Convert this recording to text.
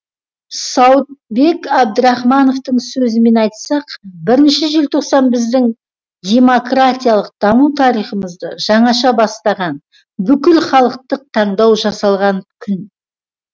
сауытбек абдрахмановтың сөзімен айтсақ бірінші желтоқсан біздің демократиялық даму тарихымызды жаңаша бастаған бүкілхалықтық таңдау жасалған күн